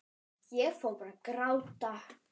Ég fór bara að gráta.